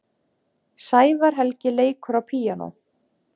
Sævar Helgi leikur á píanó.